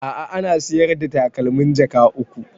A'a ana sayar the takalmin jaka uku